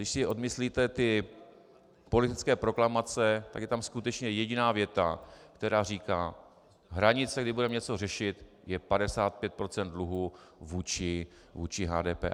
Když si odmyslíte politické proklamace, tak je tam skutečně jediná věta, která říká: Hranice, kdy budeme něco řešit, je 55 % dluhů vůči HDP.